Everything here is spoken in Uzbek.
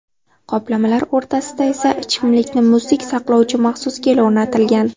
Qoplamalar o‘rtasida esa ichimlikni muzdek saqlovchi maxsus gel o‘rnatilgan.